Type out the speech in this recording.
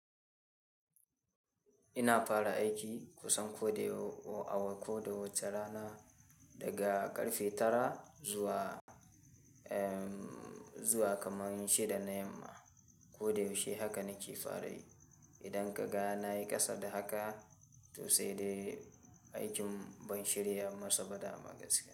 Ina fara aiki kusan ko dai awa ko dai wace rana daga ƙarfe tara zuwa zuwa kamar shida na yamma ko da yaushe haka nake fara yi. Idan ka ga na yi ƙasa da haka, to sai dai aikin ban shirya masa ba da ma gaskiya.